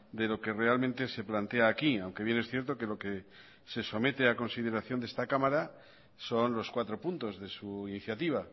de lo que realmente se plantea aquí aunque bien es cierto que lo que se somete a consideración de esta cámara son los cuatro puntos de su iniciativa